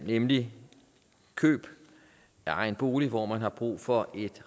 nemlig køb af egen bolig hvor man har brug for